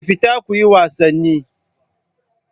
Ku fita kuyi wasanni.